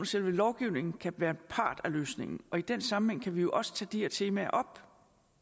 selve lovgivningen kan være en part af løsningen og i den sammenhæng kan vi jo også tage de her temaer op